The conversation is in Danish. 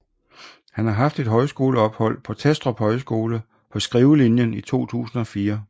Han har haft et højskoleophold på Testrup Højskole på skrivelinjen i 2004